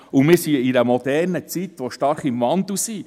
Wir befinden uns in einer modernen Zeit und in einem starken Wandel.